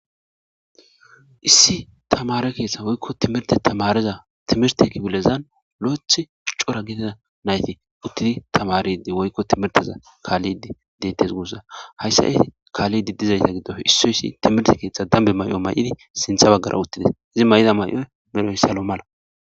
Issi tamare keeththa woykko timirte tamareza timirte kibilezan lo7ethi cora gida nayti uttidi tamaridi woykko timirteza kaallidi dettes guussa hayssa e kaallidi dizayta giddo issoyssi timirte keeththa dambe may7o may7idi sintha baggara uttides izi may7ida may7oy medhoyssalo mala.